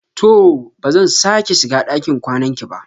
To! ba zan sake shiga ɗakin kwanan ki ba.